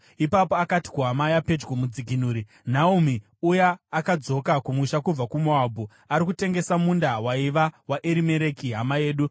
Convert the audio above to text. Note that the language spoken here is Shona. Ipapo akati kuhama yapedyo, mudzikinuri, “Naomi uya akadzoka kumusha kubva kuMoabhu, ari kutengesa munda waiva waErimereki hama yedu.